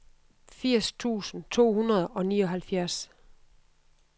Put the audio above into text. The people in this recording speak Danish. firs tusind to hundrede og nioghalvfjerds